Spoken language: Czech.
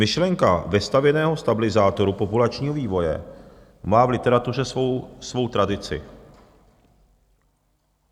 Myšlenka vestavěného stabilizátoru populačního vývoje má v literatuře svou tradici.